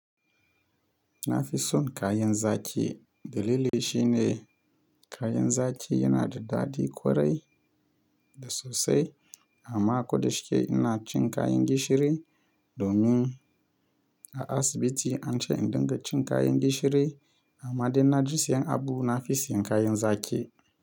Na fi son kayan zaƙi Dalili shi ne kayan zaƙi yana da daɗi ƙwarai da sosai amma ko da shi ke ina cin kayan gishiri domin a asibiti an ce in dinga cin kayan gishiri amma idan na je siyan abu na fi siyan kayan zaki.